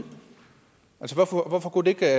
hvorfor kunne det ikke